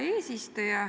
Hea eesistuja!